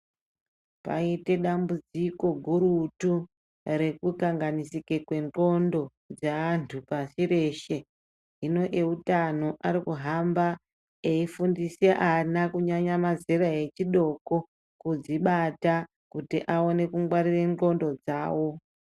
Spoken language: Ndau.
Paite dambudziko gurutu, rekukanganisike kwendxondo yeantu pasi reshe. Hinobeutano ari kuhamba eifundise ana, kunyanya mazera echidoko, kudzibata kuti aone kungwarire ndxondo dzavo.